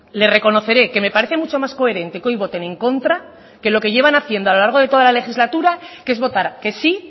le reconoceré que me parece mucho más coherente que hoy voten en contra que lo que llevan haciendo a lo largo de toda la legislatura que es votar que sí